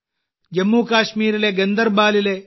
ജമ്മു കശ്മീരിലെ ഗന്ദർബാലിലെ ശ്രീ